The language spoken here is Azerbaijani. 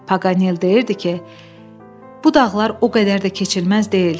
Paqanel deyirdi ki, bu dağlar o qədər də keçilməz deyil.